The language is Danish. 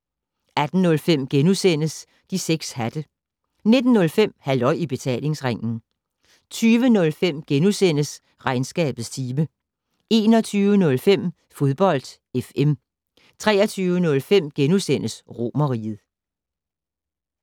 18:05: De 6 hatte * 19:05: Halløj I Betalingsringen 20:05: Regnskabets time * 21:05: Fodbold FM 23:05: Romerriget *